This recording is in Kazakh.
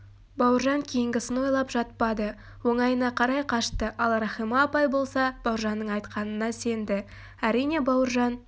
бауыржан кейінгісін ойлап жатпады оңайына қарай қашты ал рахима апай болса бауыржанның айтқанына сенді әрине бауыржан